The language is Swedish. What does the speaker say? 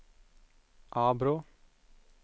Arbrå